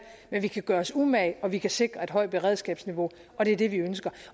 men vi kan gøre os umage og vi kan sikre et højt beredskabsniveau og det er det vi ønsker